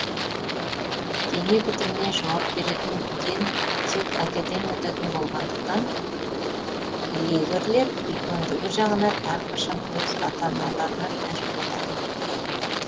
дене бітіміне жауап беретін ген тек әкеден өтетін болғандықтан лигрлер үлкендігі жағынан әрқашан өз ата аналарынан ірі болады